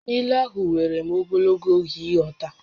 Ílú ahụ wèrè m ogologo oge ịghọta